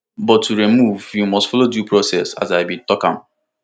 but to remove you must follow due process as i bin tok